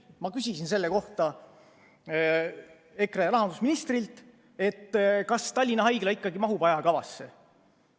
Ma küsisin selle kohta EKRE rahandusministrilt, kas Tallinna Haigla mahub ajakavasse.